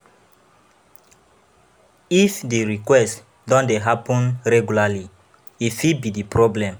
If di request don dey happen regularly, e fit be problem